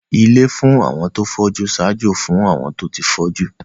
Ilé fún àwọn tó fọ́jú ń ṣaájó fún àwọn tó ti fọ́jú